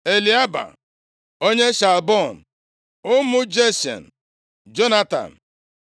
Eliaba, onye Shaalbon, Ụmụ Jashen, Jonatan